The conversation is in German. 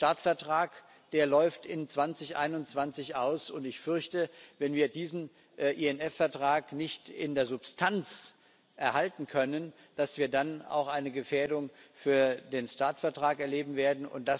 Der START Vertrag läuft 2021 aus und ich fürchte, wenn wir diesen INF Vertrag nicht in der Substanz erhalten können, dass wir dann auch eine Gefährdung für den START Vertrag erleben werden.